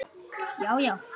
Já já.